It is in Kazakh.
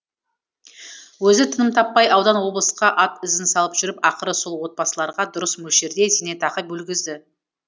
өзі тыным таппай аудан облысқа ат ізін салып жүріп ақыры сол отбасыларға дұрыс мөлшерде зейнетақы бөлгізді